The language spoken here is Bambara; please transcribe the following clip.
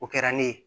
O kɛra ne ye